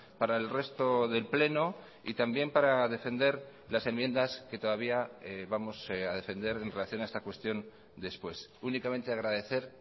para el resto del pleno y también para defender las enmiendas que todavía vamos a defender en relación a esta cuestión después únicamente agradecer